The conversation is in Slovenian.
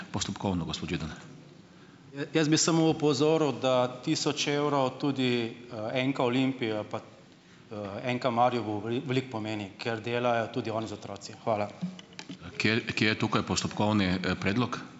Jaz bi samo opozoril, da tisoč evrov tudi, NK Olimpija pa, NK Maribor veliko pomeni, ker delajo tudi oni z otroci. Hvala.